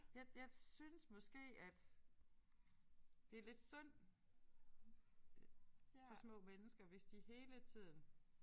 Jeg jeg synes måske at det er lidt synd for små mennesker hvis de hele tiden